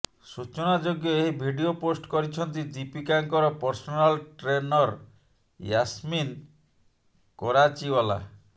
ସୂଚନାଯୋଗ୍ୟ ଏହି video post କରିଛନ୍ତି ଦୀପିକାଙ୍କର ପର୍ସନାଲ୍ ଟ୍ରେନର୍ ୟାସ୍ମିନ୍ କରାଚିୱାଲା